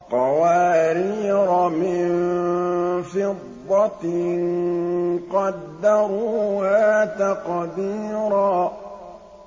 قَوَارِيرَ مِن فِضَّةٍ قَدَّرُوهَا تَقْدِيرًا